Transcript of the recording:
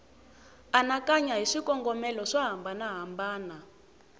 anakanya hi swikongomelo swo hambanahambana